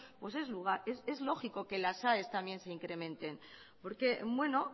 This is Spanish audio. pues lógico que las aes también se incrementen porque bueno